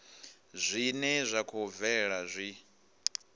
zwine zwa khou bvelela zwi